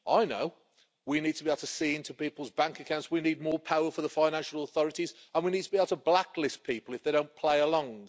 I know we need to be able to see into people's bank accounts, we need more power for the financial authorities, and we need to be able to blacklist people if they don't play along'.